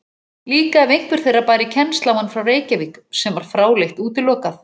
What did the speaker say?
Líka ef einhver þeirra bæri kennsl á hann frá Reykjavík, sem var fráleitt útilokað.